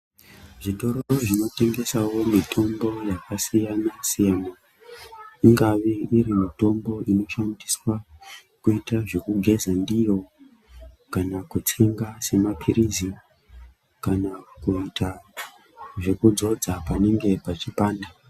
Zvitoro zvinotengesawo mitombo yakasiyana siyana ingave iri mitombo inoshandiswa kuita zvekugeza ndiyo kana kutsenga semapirizi kana kuita zvekudzodza panenge pachipanda.